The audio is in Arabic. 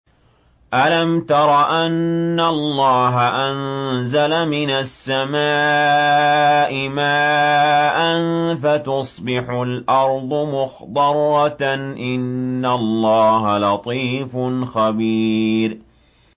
أَلَمْ تَرَ أَنَّ اللَّهَ أَنزَلَ مِنَ السَّمَاءِ مَاءً فَتُصْبِحُ الْأَرْضُ مُخْضَرَّةً ۗ إِنَّ اللَّهَ لَطِيفٌ خَبِيرٌ